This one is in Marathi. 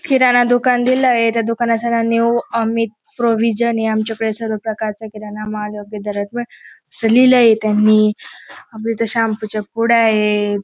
किराणा दुकान दिलय त्या दुकानात सरांनी ओ अमित प्रोविजन ये आमच्या कडे सर्व प्रकारचा किराणामाल योग्य दरात भेटल असं लिहिलंय त्यांनी अजून तर शॅम्पू च्या पुड्या आहेत.